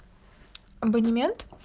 абонемент